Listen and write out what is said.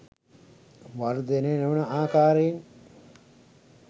වර්ධනය නොවන ආකාරයෙන්